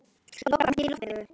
Lokbrá, hringdu í Loftveigu.